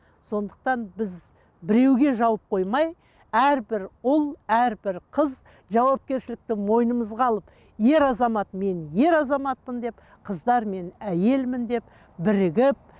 сондықтан біз біреуге жауып қоймай әрбір ұл әрбір қыз жауапкершілікті мойынымызға алып ер азамат мен ер азаматпын деп қыздар мен әйелмін деп бірігіп